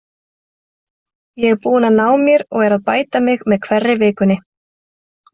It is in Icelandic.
Ég er búinn að ná mér og er að bæta mig með hverri vikunni.